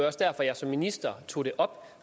også derfor jeg som minister tog det op